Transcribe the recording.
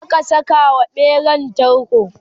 zaka Saka wa ɓeran tarko?